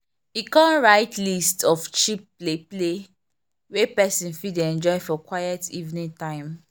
e come write list of cheap play play wey person fit dey enjoy for quiet evening time.